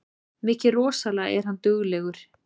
Mikið rosalega er hann duglegur